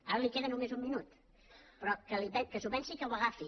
ara li queda només un minut però que s’ho pensi i que ho agafi